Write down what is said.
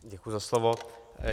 Děkuji za slovo.